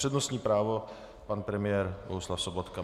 Přednostní právo pan premiér Bohuslav Sobotka.